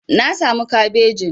Na samu kabejin.